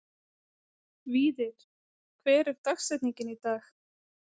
Víðar, hver er dagsetningin í dag?